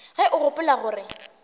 ge o gopola gore o